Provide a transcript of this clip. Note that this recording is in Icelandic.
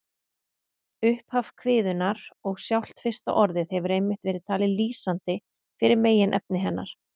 Upphaf kviðunnar og sjálft fyrsta orðið hefur einmitt verið talið lýsandi fyrir meginefni hennar.